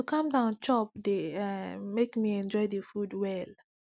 to calm down chop dey um make me enjoy the food well